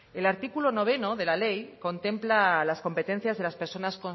el artículo nueve de la ley contempla las competencias de las personas